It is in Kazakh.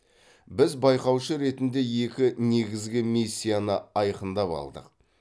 біз байқаушы ретінде екі негізгі миссияны айқындап алдық